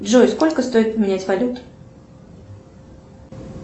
джой сколько стоит поменять валюту